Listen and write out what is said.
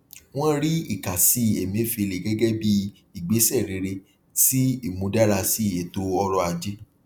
wọn rí ìkásí emefiele gẹgẹ bí igbésẹ rere sí imúdárasí ètò ọrọ ajé